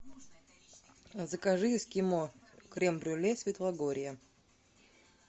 закажи эскимо крем брюле светлогорье